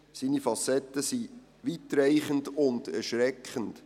Seine Facetten sind weitreichend und erschreckend.